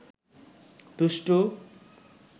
দুষ্টু